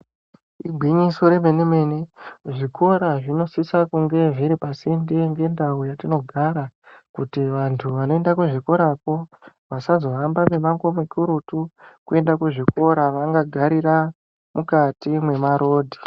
Igwinyiso remene mene zvikora zvinosise kunge zviri pasinde ngendau yatinogara kuti vanthu vanoenda kuzvikorako vasazohamba mimango mikurutu kuenda kuzvikora, vangagarira mukati mwemarodhi.